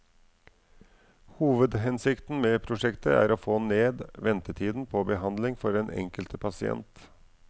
Hovedhensikten med prosjektet er å få ned ventetiden på behandling for den enkelte pasient.